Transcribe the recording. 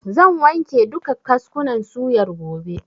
Zan wanke duka kaskunan suyar gobe.